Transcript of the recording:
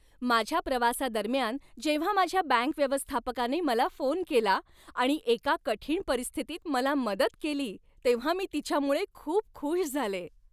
माझ्या प्रवासादरम्यान जेव्हा माझ्या बँक व्यवस्थापकाने मला फोन केला आणि एका कठीण परिस्थितीत मला मदत केली तेव्हा मी तिच्यामुळे खूप खुश झाले.